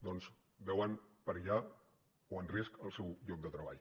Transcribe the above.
doncs veuen perillar o en risc el seu lloc de treball